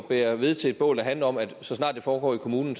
bære ved til et bål der handler om at så snart det foregår i kommunen